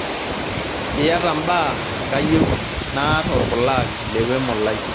iyata mbaa kayieu naar orpulag lewemo lai